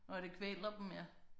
Nåh det kvæler dem ja